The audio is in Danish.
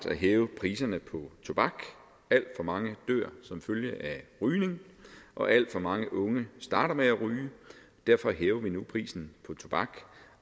ville hæve priserne på tobak alt for mange dør som følge af rygning og alt for mange unge starter med at ryge derfor hæver vi nu prisen på tobak